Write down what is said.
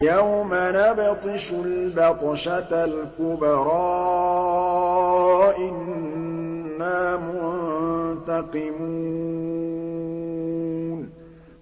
يَوْمَ نَبْطِشُ الْبَطْشَةَ الْكُبْرَىٰ إِنَّا مُنتَقِمُونَ